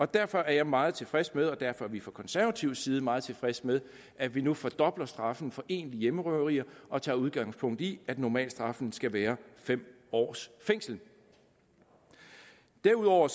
derfor er jeg meget tilfreds med og derfor er vi fra konservatives side meget tilfredse med at vi nu fordobler straffen for egentlige hjemmerøverier og tager udgangspunkt i at normalstraffen skal være fem års fængsel derudover